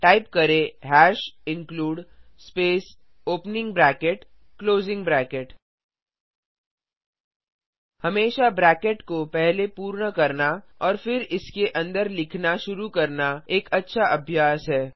type करें hash include space opening bracket closing bracket हमेशा bracket को पहले पूर्ण करना और फिर इसके अंदर लिखना शुरू करना एक अच्छा अभ्यास है